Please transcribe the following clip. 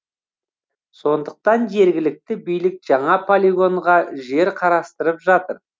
сондықтан жергілікті билік жаңа полигонға жер қарастырып жатыр